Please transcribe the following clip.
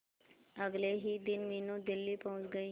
अगले ही दिन मीनू दिल्ली पहुंच गए